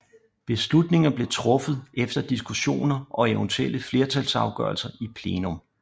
Beslutninger blev truffet efter diskussioner og eventuelle flertalsafgørelser i plenum